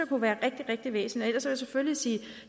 kunne være rigtig rigtig væsentligt ellers vil jeg selvfølgelig sige